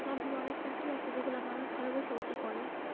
মাধ্যমে অনেক চাকরি আছে যেগুলা মানুষ ঘরে বসে বসে করে।